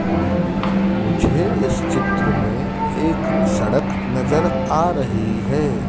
मुझे इस चित्र में एक सड़क नज़र आ रही हैं।